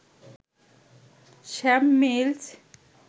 Sam mills